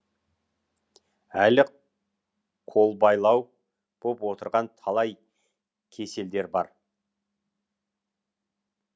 әлі қолбайлау боп отырған талай кеселдер бар